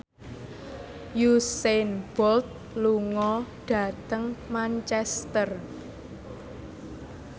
Usain Bolt lunga dhateng Manchester